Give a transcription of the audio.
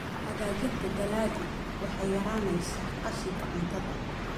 Hagaajinta dalaggu waxay yaraynaysaa qashinka cuntada.